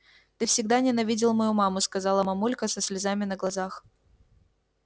ты всегда ненавидел мою маму сказала мамулька со слезами на глазах